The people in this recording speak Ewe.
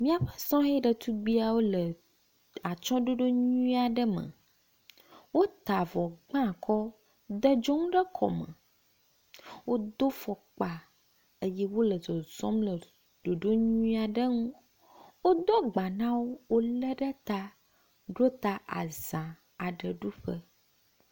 Míaƒe sɔhɛ ɖetugbiawo le atsɔɖoɖo nyuia ɖe me. Wota avɔ gba akɔ de dzonu ɖe kɔme. Wodo fɔkpa eye wo le zɔzɔm le ɖoɖo nyui aɖe ŋu. Wodo agba na wo wo le ɖe ta ɖota aza aɖe ɖuƒe.